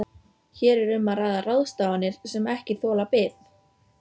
Hér er um að ræða ráðstafanir sem ekki þola bið.